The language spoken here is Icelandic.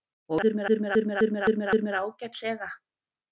Og nú líður mér ágætlega.